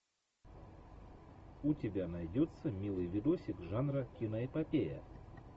у тебя найдется милый видосик жанра киноэпопея